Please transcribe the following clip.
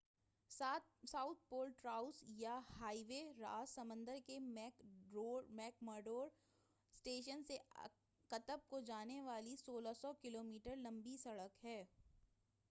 South Pole Traverse یا highway Ross سمندر کے میک مرڈو اسٹیشن سے قطب کو جانے والی 1600 کلو میٹر لمبی سڑک ہے۔